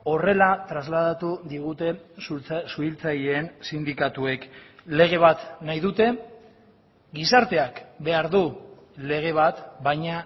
horrela trasladatu digute suhiltzaileen sindikatuek lege bat nahi dute gizarteak behar du lege bat baina